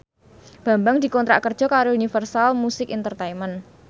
Bambang dikontrak kerja karo Universal Music Entertainment